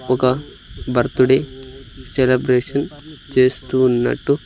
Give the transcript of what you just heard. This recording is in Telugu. ఒక బర్త్ డే సెలబ్రేషన్ చేస్తూ ఉన్నటు--